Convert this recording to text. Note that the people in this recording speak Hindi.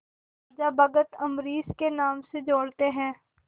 राजा भक्त अम्बरीश के नाम से जोड़ते हैं